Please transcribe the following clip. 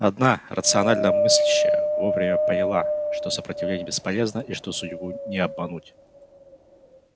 одна рационально мыслящая вовремя поняла что сопротивление бесполезно и что судьбу не обмануть